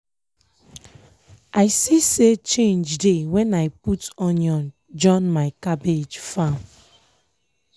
i see say change dey when i put onion join my cabbage farm.